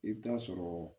I bɛ taa sɔrɔ